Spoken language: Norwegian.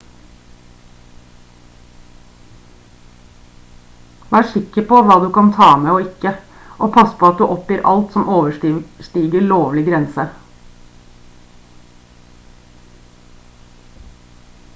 vær sikker på hva du kan ta med og ikke og pass på at du oppgir alt som overstiger lovlig grense